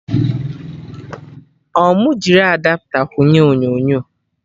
Ọ mụ jiri Adapta kwụnye onyonyo?